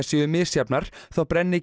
séu misjafnar þá brenni